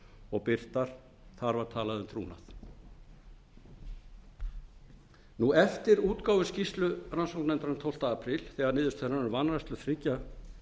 og birtar þar var talað um trúnað eftir útgáfu skýrslu rannsóknarnefndarinnar tólfta apríl þegar niðurstöður hennar um vanrækslu þriggja